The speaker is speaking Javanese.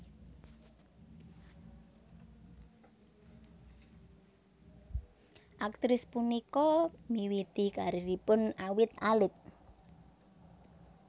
Aktris punika miwiti karieripun awit alit